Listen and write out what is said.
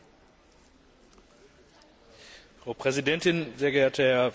Frau Präsidentin, sehr geehrter Herr Vize Präsident Almunia, liebe Kolleginnen und Kollegen!